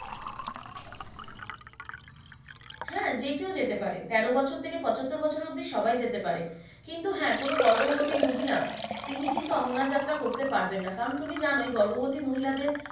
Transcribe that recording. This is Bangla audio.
হ্যাঁ যে কেউ যেতে পারে তেরো বছর থেকে পঁচাত্তর বছর অব্দি সবাই যেতে পারে কিন্তু হ্যাঁ কোনো গর্ববর্তি মহিলা তিনি কিন্তু অমরনাথ যাত্ৰা করতে পারবে না কারণ তুমি জানোই গর্ববতী মহিলা দের।